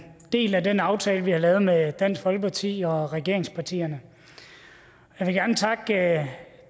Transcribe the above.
en del af den aftale vi har lavet med dansk folkeparti og regeringspartierne jeg vil gerne takke